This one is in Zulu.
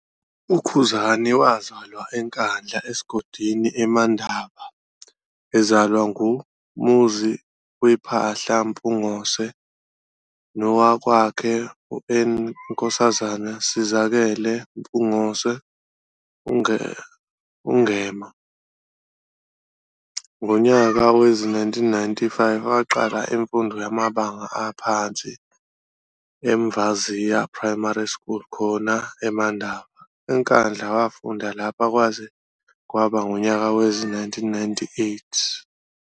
UKhuzani wazalwa eNkandla esigodini Emandaba, ezalwa nguMuziwephahla Mpungose nowakwakhe uNkk Sizakele Mpungose, uMaNgema. Ngonyaka wezi-1995 waqala imfundo yamabanga aphansi eMvaziya Primary School khona Emandaba, eNkandla, wafunda lapha kwaze kaba ngunyaka wezi-1998.